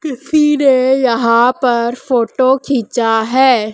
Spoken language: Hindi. किसी ने यहां पर फोटो खींचा है।